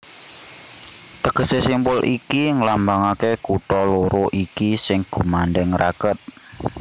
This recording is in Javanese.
Tegesé simpul iki nglambangaké kutha loro iki sing gumandhèng raket